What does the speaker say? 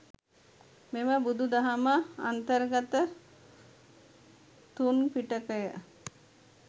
මෙම බුදු දහම අන්තර්ගත තුන් පිටකය